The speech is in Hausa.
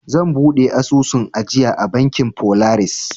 Zan buɗe asusun ajiya a bankin folaris.